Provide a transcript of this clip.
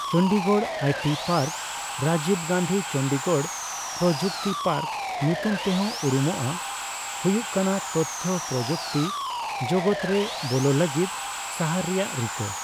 Chandigarh IT ᱯᱟᱨᱠ(ᱨᱟᱡᱤᱵᱽ Gandhi Chandigarh ᱯᱚᱨᱚᱡᱩᱠᱛᱤ park ᱧᱩᱛᱩᱢᱛᱮᱦᱚᱸ ᱩᱨᱩᱢᱚᱜᱼᱟ) ᱦᱩᱭᱩᱜ ᱠᱟᱱᱟ ᱛᱚᱛᱷᱛᱚ ᱯᱚᱨᱚᱡᱩᱠᱛᱤ ᱡᱚᱜᱚᱫᱨᱮ ᱵᱚᱞᱚ ᱞᱟᱹᱜᱤᱫ ᱥᱟᱦᱟᱨ ᱨᱮᱭᱟᱜ ᱨᱤᱠᱟᱹ ᱾